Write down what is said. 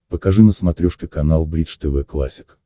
покажи на смотрешке канал бридж тв классик